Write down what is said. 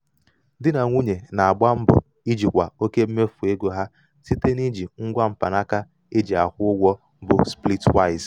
di na nwunye na-agba mbọ ijikwa oke mmefu ego ha site n'iji ngwa mkpanaka e ji akwụ ụgwọ bụ splitwise.